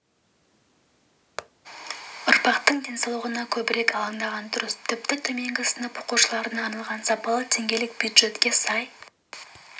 ұрпақтың денсаулығына көбірек алаңдаған дұрыс тіпті төменгі сынып оқушыларына арналған сапалы тамақ теңгелік бюджетке сай